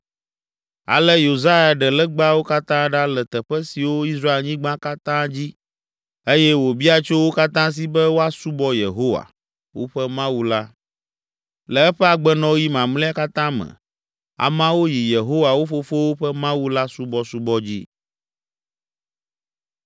Ale Yosia ɖe legbawo katã ɖa le teƒe siwo Israelnyigba katã dzi eye wòbia tso wo katã si be woasubɔ Yehowa, woƒe Mawu la, le eƒe agbenɔɣi mamlɛa katã me; ameawo yi Yehowa, wo fofowo ƒe Mawu la subɔsubɔ dzi.